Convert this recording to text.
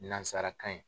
Nansarakan ye